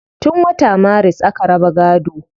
Tun wata maris aka raba gaado